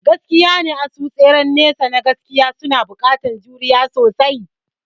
Gaskiyane, asu tseren nesa na gaskiya suna buƙatar juriya sosai.